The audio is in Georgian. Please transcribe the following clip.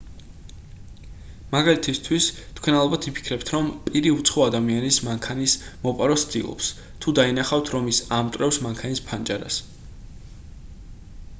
მაგალითისთვის თქვენ ალბათ იფიქრებთ რომ პირი უცხო ადამიანის მანქანის მოპარვას ცდილობს თუ დაინახავთ რომ ის ამტვრევს მანქანის ფანჯარას